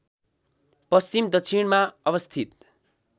पश्चिम दक्षिणमा अवस्थित